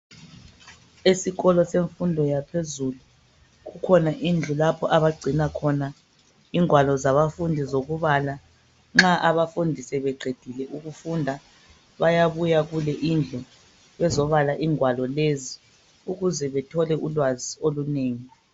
Esikolo semfundo yaphezulu, kukhona indlu lapho abagcina khona ingwalo zabafundi zokubala. Nxa abafundi sebeqedile ukufunda, bayabuya kule indlu bezobala ingwalo lezi ukuze bethole ulwazi olunengi.